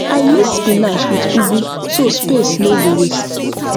i mix spinach with ugu so space no go waste